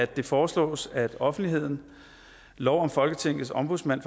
det foreslås at offentligheden lov om folketingets ombudsmand